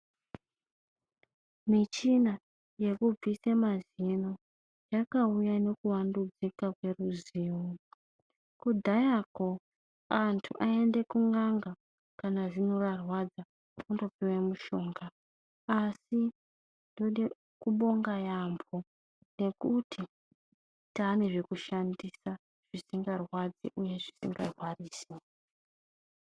Mitshini yekubvise mazino yakauya ngekuvandudzika kweruzivo. Kudhayako antu aiende kun'anga kana zino rarwadza kundopuwe mushonga. Asi tode kubonga yaamho ngekuti taane zvekushandisa zvisingarwadzi uye zvisingarwadzisi